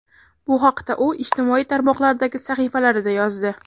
Bu haqda u ijtimoiy tarmoqlardagi sahifalarida yozdi .